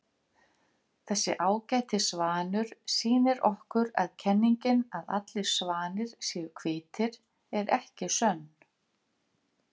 Þessi ágæti svanur sýnir okkur að kenningin að allir svanir séu hvítir er ekki sönn.